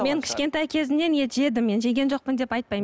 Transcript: мен кішкентай кезімнен ет жедім мен жеген жоқпын деп айтпаймын